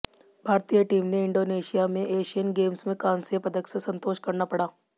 भारतीय टीम ने इंडोनेशिया में एशियन गेम्स में कांस्य पदक से संतोष करना पड़ा